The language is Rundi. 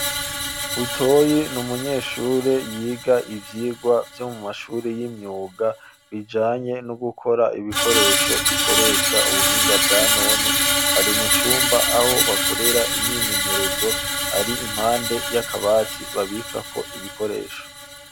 Butoyi ni umunyeshuri yiga ivyigwa vyo mu mashuri y'imyuga bijanye no gukora ibikoresho bikoresha ubuhinga bwa none, ari mu cumba aho bakorera imyimenyerezo, ari impande y'akabati babikako ibikoresho.